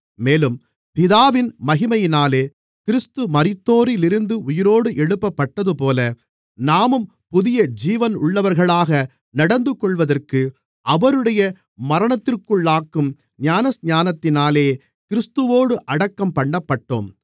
மேலும் பிதாவின் மகிமையினாலே கிறிஸ்து மரித்தோரிலிருந்து உயிரோடு எழுப்பப்பட்டதுபோல நாமும் புதிய ஜீவனுள்ளவர்களாக நடந்துகொள்வதற்கு அவருடைய மரணத்திற்குள்ளாக்கும் ஞானஸ்நானத்தினாலே கிறிஸ்துவோடு அடக்கம் பண்ணப்பட்டோம்